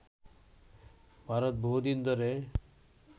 ভারত বহুদিন ধরে